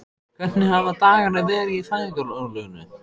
Hvernig hafa dagarnir verið í fæðingarorlofinu?